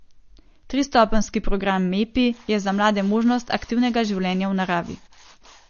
Tristopenjski program Mepi je za mlade možnost aktivnega življenja v naravi.